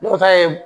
N'o ta ye